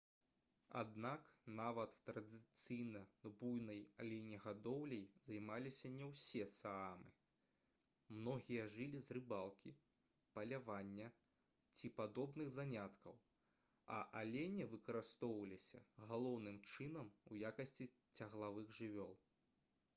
аднак нават традыцыйна буйной аленегадоўляй займаліся не ўсе саамы многія жылі з рыбалкі палявання ці падобных заняткаў а алені выкарыстоўваліся галоўным чынам у якасці цяглавых жывёл